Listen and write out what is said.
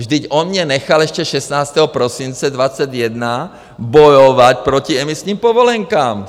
Vždyť on mě nechal ještě 16. prosince 2021 bojovat proti emisním povolenkám!